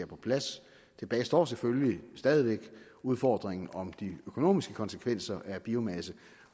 på plads tilbage står selvfølgelig stadig væk udfordringen om de økonomiske konsekvenser af biomasse